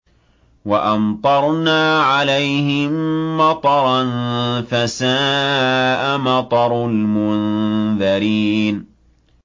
وَأَمْطَرْنَا عَلَيْهِم مَّطَرًا ۖ فَسَاءَ مَطَرُ الْمُنذَرِينَ